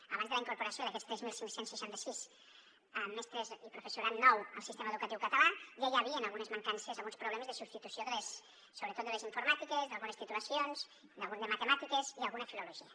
abans de la incorporació d’aquests tres mil cinc cents i seixanta sis mestres i professorat nou al sistema educatiu català ja hi havien algunes mancances alguns problemes de substitució sobretot de les informàtiques d’algunes titulacions d’algun de matemàtiques i alguna filologia